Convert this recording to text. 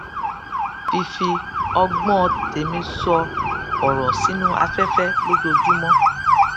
fífi ọgbón tèmí sọ òrò sínú afẹfẹ lójoojúmọ